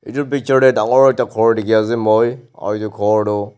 etu picture tey dangor ekta khor dekhe ase moi aro etu khor tu--